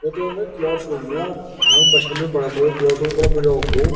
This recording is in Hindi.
भाई क्लासरूम यार बचपन में पढ़ा करो क्लासरूम बड़ा मजाक करो।